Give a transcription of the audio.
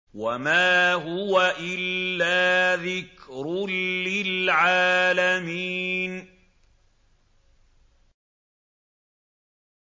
وَمَا هُوَ إِلَّا ذِكْرٌ لِّلْعَالَمِينَ